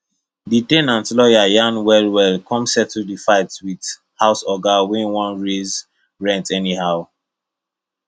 the ten ant lawyer yarn well well come settle the fight with house oga wey wan raise rent anyhow